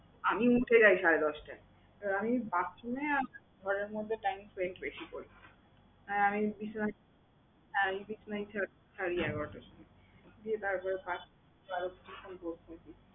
আমি উঠে যাই সাড়ে দশটায় আমি bathroom এ আর ঘরের মধ্যে time spend বেশি করি। আর আমি বিছানায় আমি বিছানা ছাড়ি এগারোটার সময়। গিয়ে তারপর করতে থাকি।